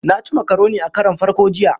Na ci makaroni a karon farko jiya.